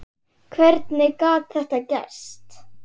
Hvernig gat það gerst?